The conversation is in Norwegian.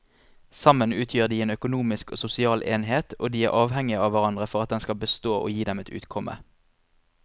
Sammen utgjør de en økonomisk og sosial enhet og de er avhengige av hverandre for at den skal bestå og gi dem et utkomme.